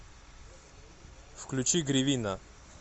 включи гривина